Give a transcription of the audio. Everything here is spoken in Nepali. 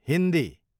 हिन्दी